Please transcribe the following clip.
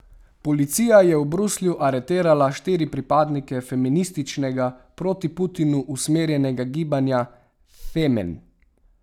Policija je v Bruslju aretirala štiri pripadnike feminističnega, proti Putinu usmerjenega gibanja Femen.